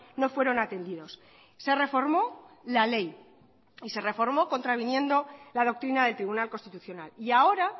no fueron atendidos se reformó la ley y se reformó contraviniendo la doctrina del tribunal constitucional y ahora